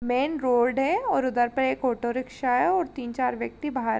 Main road हैं और उधर पे एक ऑटो रिक्शा है। तीन चार व्यक्ति बाहर --